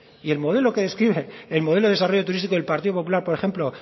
y el modelo que describe el modelo de desarrollo turístico del partido popular por ejemplo